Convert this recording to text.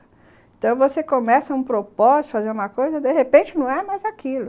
Então, você começa um propósito, fazer uma coisa, de repente, não é mais aquilo.